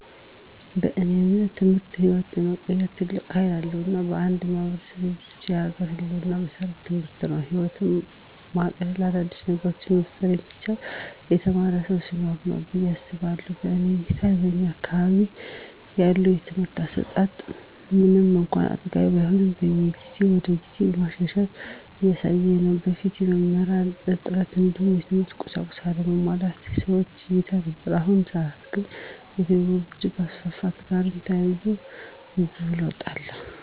በእኔ እምነት ትምህርት ህይወትን የመቀየር ትልቅ ሀይል አለዉ። እና ለአንድ ማህበረሰብ ብሎም ለሀገር ህልወና መሰረቱ ትምህርት ነው። ህይወትን ማቅለል : አዳዲስ ነገሮችን መፍጠር የሚቻለው የተማረ ሰው ሲኖር ነው ብየ አስባለሁ። በእኔ እይታ በእኛ አካባቢ ያለው የትምህርት አሰጣት ምንም እንኳን አጥጋቢ ባይሆንም ከጊዜ ወደጊዜ መሻሻሎችን እያሳየ ነው። በፊት የመምህራን እጥረት እንዲሁም የትምህርት ቁሳቁሶች አለመሟላት በሰፊው ይታይ ነበር። በአሁኑ ሰአት ግን ከቴክኖሎጅ መስፋፋት ጋርም ተያይዞ ብዙ ለውጦች አሉ።